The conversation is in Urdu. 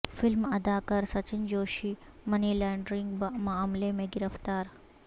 فلم اداکار سچن جوشی منی لانڈرنگ معاملے میں گرفتار